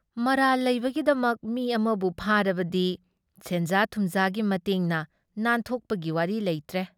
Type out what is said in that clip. ꯃꯔꯥꯜ ꯂꯩꯕꯒꯤꯗꯃꯛ ꯃꯤ ꯑꯃꯕꯨ ꯐꯥꯔꯕꯗꯤ ꯁꯦꯟꯖꯥ ꯊꯨꯝꯖꯥꯒꯤ ꯃꯇꯦꯡꯅ ꯅꯥꯟꯊꯣꯛꯄꯒꯤ ꯋꯥꯔꯤ ꯂꯩꯇ꯭ꯔꯦ ꯫